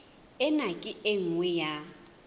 ena ke e nngwe ya